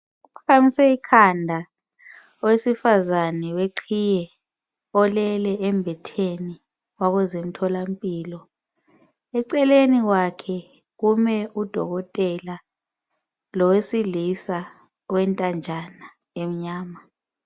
Uphakamise ikhanda owesifazana weqhiye olele embhedeni wakozomthola mpilo. Eceleni kwakhe kume udokotela lowesilisa owentanjana emnyama.